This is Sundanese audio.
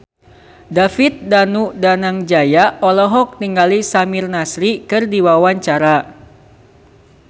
David Danu Danangjaya olohok ningali Samir Nasri keur diwawancara